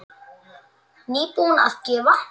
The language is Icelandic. Nýbúin að gefa.